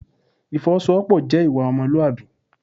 Ìfọwọ́sowọ́pọ̀ jẹ́ ìwà ọmọlúwàbí.